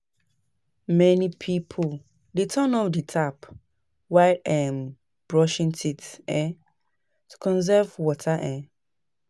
Many pipo dey turn off the tap while um brushing teeth um to conserve water. um